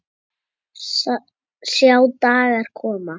Sjá dagar koma